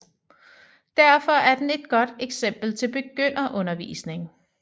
Derfor er den et godt eksempel til begynderundervisning